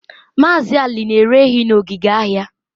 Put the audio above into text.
Maazị Ali na-ere ehi na ogige ahịa